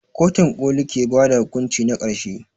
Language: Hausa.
Kotun ƙoli ke ba da hukunci na ƙarshe.